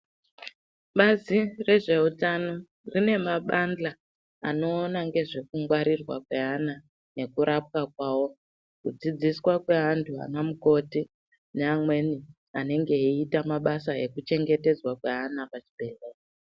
Bazi rezveutano rine mabanhla anoona ngezvekungwarirwa kweana nekurapwa kwawo ,kudzidziswa kweantu anamukoti neamweni anenge eiita mabasa ekuchengetedzwa kweana pazvibhehlera .